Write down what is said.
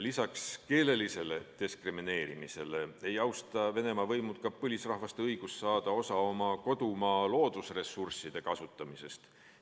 Lisaks keelelisele diskrimineerimisele ei austa Venemaa võimud ka põlisrahvaste õigust saada osa oma kodumaa loodusressursside kasutamisest.